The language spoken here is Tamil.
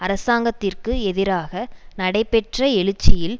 அரசாங்கத்திற்கு எதிராக நடைபெற்ற எழுச்சியில்